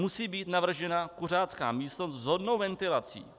Musí být navržena kuřácká místnost s vhodnou ventilací.